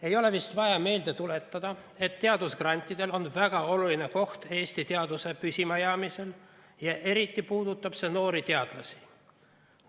Ei ole vist vaja meelde tuletada, et teadusgrantidel on väga oluline koht Eesti teaduse püsimajäämisel ja eriti puudutab see noori teadlasi.